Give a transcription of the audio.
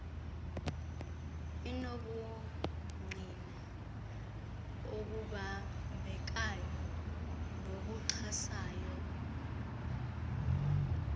enobungqina obubambekayo nobuxhasayo